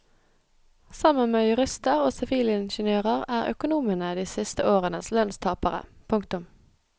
Sammen med jurister og sivilingeniører er økonomene de siste årenes lønnstapere. punktum